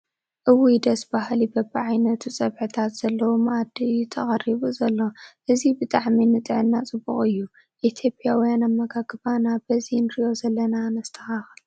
እውይ ደስ በሃሊ በብዓይነቱ ፅብሕታት ዘለዎ መዓዲ እዩ ተቐሪቡ ዘሎ ፡ እዚ ብጣዕሚ ንጥዕና ፅቡቕ እዩ ፡ ኢ/ያዊያን ኣመጋግባና በዚ ንሪኦ ዘለና ነስተኻኽል ።